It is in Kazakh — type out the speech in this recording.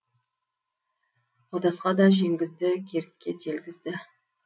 қодасқа да жеңгізді керікке телгізді